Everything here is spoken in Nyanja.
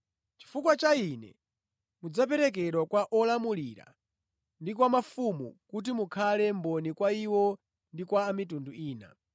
Chifukwa cha Ine, mudzaperekedwa kwa olamulira ndi kwa mafumu kuti mukhale mboni kwa iwo ndi kwa a mitundu ina.